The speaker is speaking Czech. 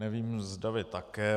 Nevím, zda vy také.